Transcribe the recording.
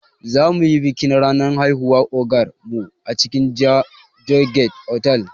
Zamuyi bikin ranar haihuwar ogar mu a cikin joygate otal